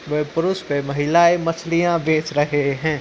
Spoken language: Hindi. वह पुरुष वह महिलाएं मछलियाँ बेच रहे हैं।